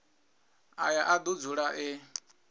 aya a do dzula e